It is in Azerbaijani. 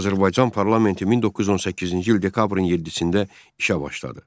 Azərbaycan Parlamenti 1918-ci il dekabrın 7-də işə başladı.